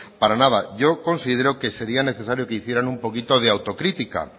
para nada yo considero que sería necesario que hicieran un poquito de autocrítica